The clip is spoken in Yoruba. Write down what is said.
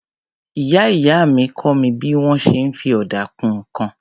Ìyá-ìyá mi kọ́ mi bí wọ́n ṣe ń fi ọ̀dà kun nǹkan.